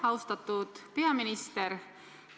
Austatud peaminister!